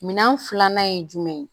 Minɛn filanan ye jumɛn ye